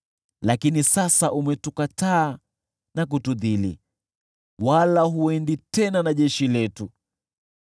Lakini sasa umetukataa na kutudhili, wala huendi tena na jeshi letu.